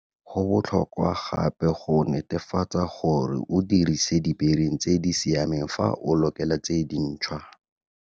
Go botlhokwa gape go netefatsa gore o dirise dibering tse di siameng fa o lokela tse dintshwa.